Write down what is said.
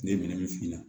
Ne ye minɛn min f'i ɲɛna